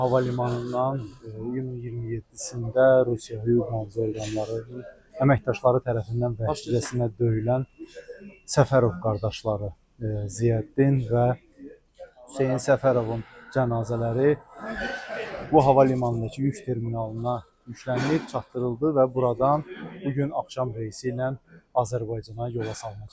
Bu hava limanından iyunun 27-də Rusiya hüquq-mühafizə orqanları əməkdaşları tərəfindən vəhşicəsinə döyülən Səfərov qardaşları Ziyəddin və Hüseyn Səfərovun cənazələri bu hava limanındakı yük terminalına yüklənib çatdırıldı və buradan bu gün axşam reysi ilə Azərbaycana yola salınacaq.